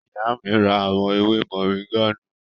Ìyá mi ra àwọn ewé mọ̀ríńgà náà